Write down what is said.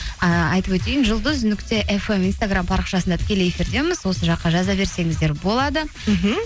ыыы айтып өтейін жұлдыз нүкте фм инстаграм парақшасында тікелей эфирдеміз осы жаққа жаза берсеңіздер болады мхм